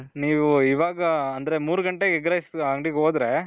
ನೀವು ಇವಾಗ ಅಂದ್ರೆ ಮೂರು ಗಂಟೆಗೆ egg rice ಅಂಗಡಿಗೆ ಹೋದ್ರೆ.